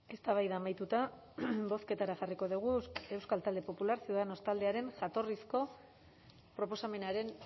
eztabaida amaituta bozketara jarriko dugu euskal talde popular ciudadanos taldearen proposamenaren